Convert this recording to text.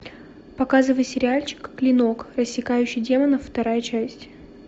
показывай сериальчик клинок рассекающий демонов вторая часть